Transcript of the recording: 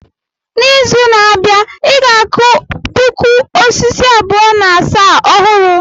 N'izu na-abịa, I ga-akụ puku osisi abụọ na asaa ọhụrụ.